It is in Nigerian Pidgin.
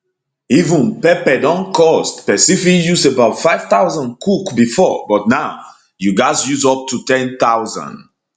even pepper don cost pesin fit use about 5000 cook bifor but now you gatz use up to 10000